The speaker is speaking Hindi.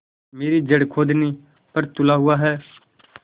मेरी जड़ खोदने पर तुला हुआ है